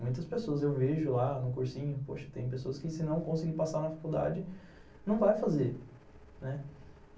Muitas pessoas eu vejo lá no cursinho, poxa, tem pessoas que se não conseguir passar na faculdade, não vai fazer, né.